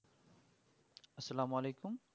সালাম ওয়ালিকুম